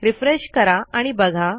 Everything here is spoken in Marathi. रिफ्रेश करा आणि बघा